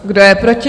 Kdo je proti?